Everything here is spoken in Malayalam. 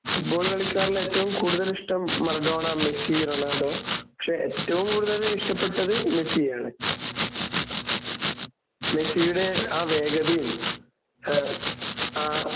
ഫുട്ബോൾ കളിക്കാരിൽ ഏറ്റവും കൂടുതൽ ഇഷ്ട്ടം മറഡോണ, മെസ്സി, റൊണാൾഡോ പക്ഷേ ഏറ്റവും കൂടുതൽ ഇഷ്ടപ്പെട്ടത് മെസ്സിയെയാണ്. മെസ്സിയുടെ ആഹ് വേഗതയും ഏഹ് ആഹ്